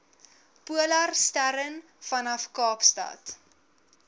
polarstern vanaf kaapstad